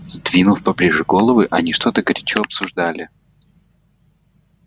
сдвинув поближе головы они что-то горячо обсуждали